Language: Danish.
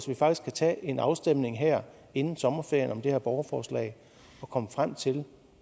vi faktisk kan tage en afstemning her inden sommerferien om det her borgerforslag og komme frem til